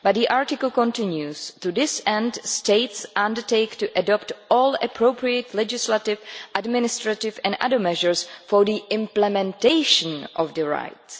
but the article continues To this end, States Parties undertake to adopt all appropriate legislative, administrative and other measures for the implementation of the rights.'